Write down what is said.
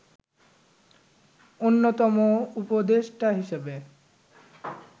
অন্যতম উপদেষ্টা হিসেবে